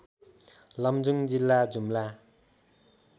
लमजुङ जिल्ला जुम्ला